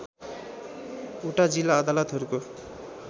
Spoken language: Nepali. वटा जिल्ला अदालतहरूको